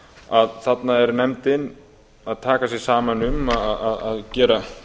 að þarna er nefndin að taka sig saman um að gera